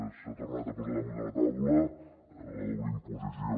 s’ha tornat a posar damunt de la taula la doble imposició